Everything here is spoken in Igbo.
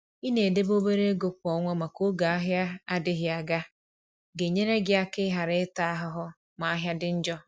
i na edebe obere ego kwa ọnwa maka oge ahịa adịghị aga. ga-enyere gị aka i ghara ịta ahụhụ ma ahịa dị njọ.